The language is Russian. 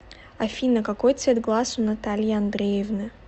афина какой цвет глаз у натальи андреевны